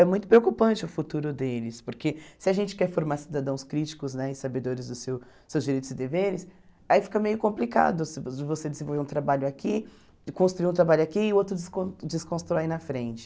É muito preocupante o futuro deles, porque se a gente quer formar cidadãos críticos né e sabedores dos seu seus direitos e deveres, aí fica meio complicado assim de você desenvolver um trabalho aqui, de construir um trabalho aqui e o outro descon desconstrói na frente.